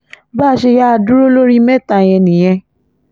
bá a ṣe yáa dúró lórí mẹ́ta yẹn nìyẹn